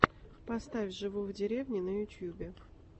поставь живу в деревне на ютьюбе